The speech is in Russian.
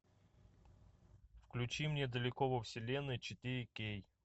включи мне далеко во вселенной четыре кей